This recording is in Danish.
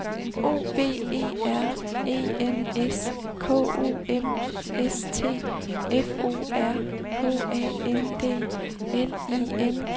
O V E R E N S K O M S T F O R H A N D L I N G E R N E